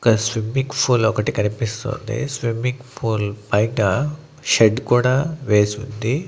ఒక swimming pool ఒకటి కనిపిస్తోంది స్విమ్మింగ్ పూల్ బయట షెడ్ కూడా వేసుంది.